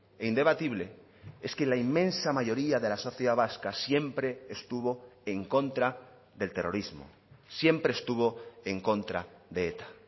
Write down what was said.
e indebatible es que la inmensa mayoría de la sociedad vasca siempre estuvo en contra del terrorismo siempre estuvo en contra de eta